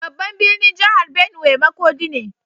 Babban birnin jihar Benue makodi ne.